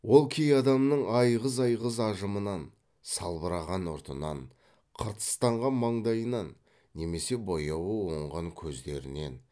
ол кей адамның айғыз айғыз ажымынан салбыраған ұртынан қыртыстанған маңдайынан немесе бояуы оңған көздерінен